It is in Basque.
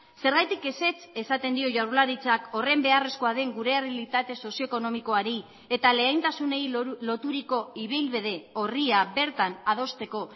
zergatik ezetz esaten dio jaurlaritzak horren beharrezkoa den gure errealitate sozioekonomikoari eta lehentasunei loturiko ibilbide orria bertan adosteko